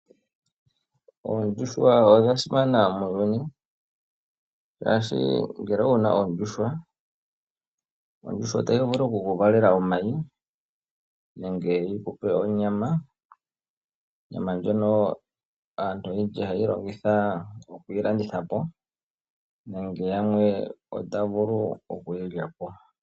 Oondjuhwa odha simana muuyuni shaashi ngele owuna oondjuhwa , ondjuhwa otayi vulu okukuvalela omayi nenge yikupe onyama . Onyama ndjono aantu oyendji hayeyi longitha okuyilanditha po nenge yamwe otaya vulu okuyi lyapo.